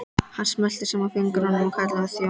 Hann smellti saman fingrum og kallaði á þjón.